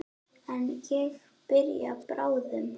En ég byrja bráðum.